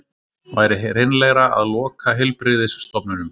Væri hreinlegra að loka heilbrigðisstofnunum